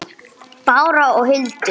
Bára og Hildur.